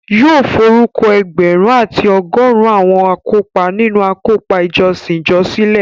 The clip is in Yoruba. Yóò forúkọ ẹgbẹ̀rún àti ọgọrun àwọn akópa nínu àkópọ̀ ìjọsìn ìjọ sílẹ̀